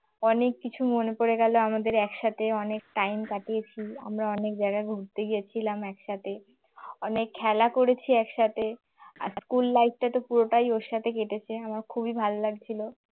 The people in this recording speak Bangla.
অনেক কিছু মনে পড়ে গেল আমাদের একসাথে অনেক time কাটিয়েছি আমরা অনেক জায়গায় ঘুরতে গেছিলাম একসাথে অনেক খেলা করেছি একসাথে, আর school life টা তো পুরোটাই ওর সাথে কেটেছে আমার খুবই ভালো লাগল।